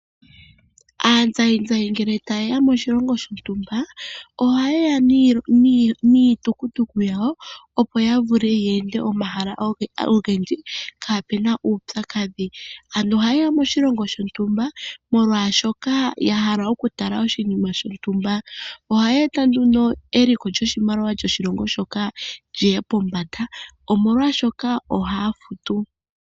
Aazayizayi ngele tayeya moshilongo shontumba ohayeya niitukutuku yawo opo yavule yeende omahala ogendji kapena uupyakadhi, ano ohayeya moshilongo shontumba molwashoka yahala okutala oshinima shontumba. Ohaya eta nduno eliko lyoshimaliwa shoshilongo shoka lyiye pombanda omolwashoka ohaya futu.